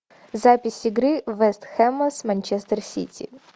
запись игры вест хэма с манчестер сити